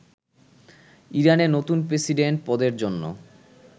ইরানে নতুন প্রেসিডেন্ট পদের জন্য